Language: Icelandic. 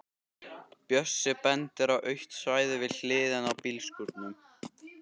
Bjössi bendir á autt svæði við hliðina á bílskúrunum.